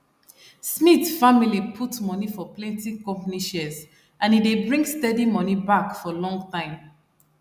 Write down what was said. smith family put money for plenty company shares and e dey bring steady money back for long time